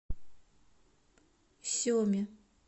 семе